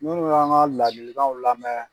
Kuma dɔ la, an b'a ka ladilaw lamɛn.